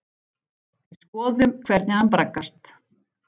Við skoðum hvernig hann braggast.